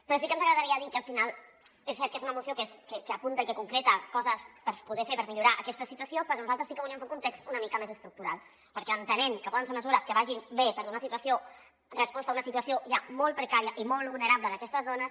però sí que ens agradaria dir que al final és cert que és una moció que apunta i que concreta coses per poder fer per millorar aquesta situació però nosaltres sí que volíem fer un context una mica més estructural perquè entenem que poden ser me·sures que vagin bé per donar resposta a una situació ja molt precària i molt vulnera·ble d’aquestes dones